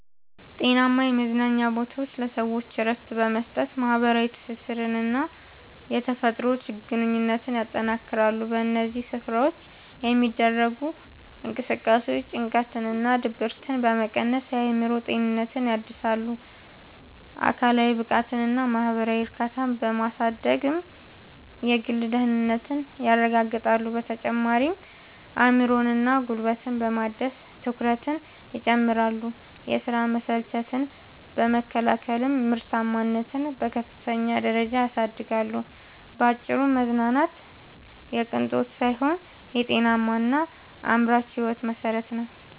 ጤናማ የመዝናኛ ቦታዎች ለሰዎች እረፍት በመስጠት፣ ማኅበራዊ ትስስርንና የተፈጥሮ ግንኙነትን ያጠናክራሉ። በእነዚህ ስፍራዎች የሚደረጉ እንቅስቃሴዎች ጭንቀትንና ድብርትን በመቀነስ የአእምሮ ጤናን ያድሳሉ፤ አካላዊ ብቃትንና ማኅበራዊ እርካታን በማሳደግም የግል ደህንነትን ያረጋግጣሉ። በተጨማሪም አእምሮንና ጉልበትን በማደስ ትኩረትን ይጨምራሉ፤ የሥራ መሰልቸትን በመከላከልም ምርታማነትን በከፍተኛ ደረጃ ያሳድጋሉ። ባጭሩ መዝናናት የቅንጦት ሳይሆን የጤናማና አምራች ሕይወት መሠረት ነው።